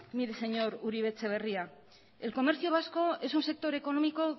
mire señor uribe etxebarria el comercio vasco es un sector económico